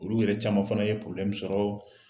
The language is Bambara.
Olu yɛrɛ caman fana ye sɔrɔ